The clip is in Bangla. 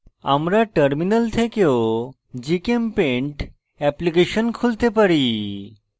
আমরা terminal থেকেও gchempaint এপ্লিকেশন খুলতে পারি